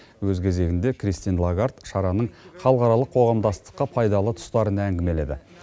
өз кезегінде кристин лагард шараның халықаралық қоғамдастыққа пайдалы тұстарын әңгімеледі